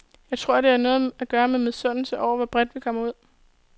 Jeg tror, at det har noget at gøre med misundelse over, hvor bredt vi kommer ud.